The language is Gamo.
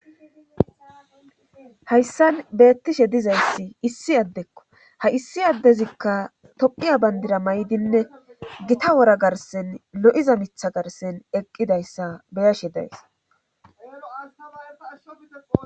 hayssan beettishe dizayssi issi addekko ha issi addezikka tophiya bandira maydinne gita wora garsen lo'iza mitha garsen eqqidayssa beyashe days